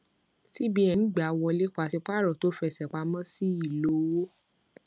cbn gbà wọlé paṣípààrọ tó fẹsẹ pamọ sí ìlò òwò